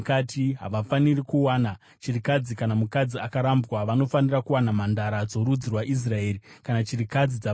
Havafaniri kuwana chirikadzi kana mukadzi akarambwa, vanofanira kuwana mhandara dzorudzi rwaIsraeri kana chirikadzi dzavaprista.